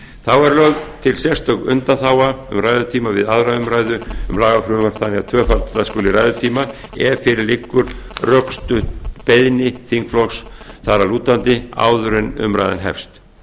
þá er lögð til sérstök undanþága um ræðutíma við aðra umræðu um lagafrumvörp þannig að tvöfalda skuli ræðutíma ef fyrir liggur rökstudd beiðni þingflokks þar að lútandi áður en umræðan hefst